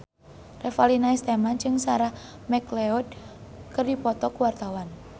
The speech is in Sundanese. Revalina S. Temat jeung Sarah McLeod keur dipoto ku wartawan